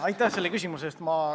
Aitäh selle küsimuse eest!